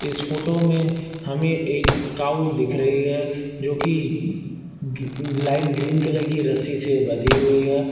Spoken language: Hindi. इस फोटो में हमें एक काऊ दिख रही है जो कि लाइट ग्रीन कलर की रस्सी से बंधी हुई है।